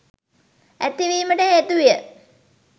ඇතිවීමට හේතු විය.